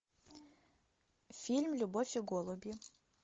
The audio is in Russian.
фильм любовь и голуби